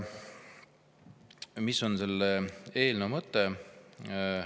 Mis on selle eelnõu mõte?